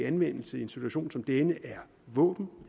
anvendelse i en situation som denne er våben